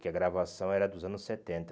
Que a gravação era dos anos setenta